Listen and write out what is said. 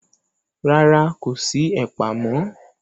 Rárá, kò sí ẹ̀pà mọ́.